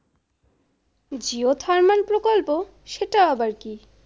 geothermal প্রকল্প। সেটা আবার কি?